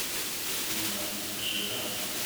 наджран